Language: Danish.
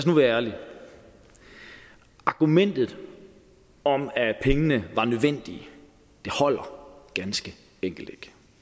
nu være ærlige argumentet om at pengene var nødvendige holder ganske enkelt